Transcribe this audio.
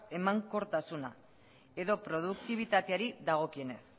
emankortasuna edo produktibitateari dagokionez